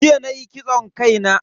Jiya nayi kitson kai na.